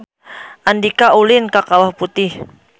Andika ulin ka Kawah Putih